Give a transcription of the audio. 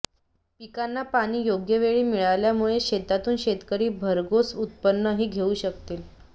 पिकांना पाणी योग्यवेळी मिळाल्यामुळे शेतातून शेतकरी भरघोष उत्पन्नही घेऊ शकतील